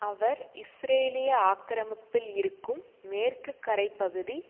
அவர் இஸ்ரேலிய ஆக்கிரமிப்பில் இருக்கும் மேற்குக்கரைப்பகுதி